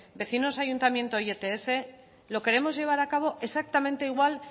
vecinos ayuntamiento y ets lo queremos llevar acabo exactamente igual